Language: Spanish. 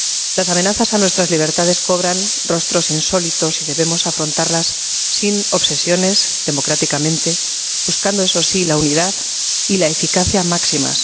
Las amenazas a nuestras libertades cobran rostros insólitos y debemos afrontarlas sin obsesiones, democráticamente, buscando, eso sí, la unidad y la eficacia máximas.